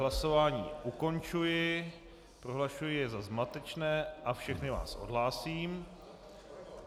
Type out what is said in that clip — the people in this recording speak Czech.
Hlasování ukončuji, prohlašuji jej za zmatečné a všechny vás odhlásím.